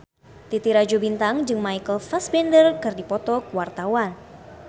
Titi Rajo Bintang jeung Michael Fassbender keur dipoto ku wartawan